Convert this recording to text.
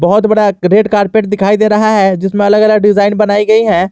बहुत बड़ा red carpet दिखाई दे रहा है जिसमें अलग अलग डिजाइन बनाई गई है।